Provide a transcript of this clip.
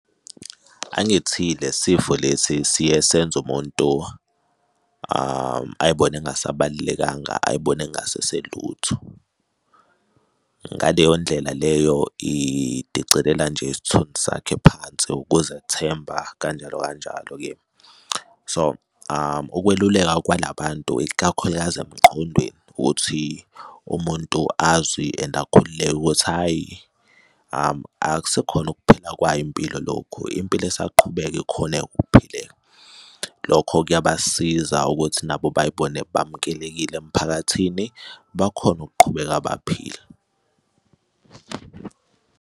Angithi le sifo lesi siye senze umuntu ay'bone engasabalulekanga ay'bone engaseselutho. Ngaleyo ndlela leyo idicelela nje isithunzi sakhe phansi ukuzethemba, kanjalo, kanjalo-ke. So Ukweluleka kwala bantu, isikakhulukazi emqondweni ukuthi umuntu azwi and akhululeke ukuthi hhayi, akusekhona ukuphela kwayo impilo lokhu impilo esaqhubeka ikhoneka ukuphileka. Lokho kuyabasiza ukuthi nabo bay'bone bamukelekile emphakathini, bakhone ukuqhubeka baphile.